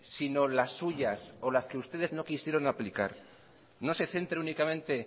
sino las suyas o las que ustedes no quisieron aplicar no se centre únicamente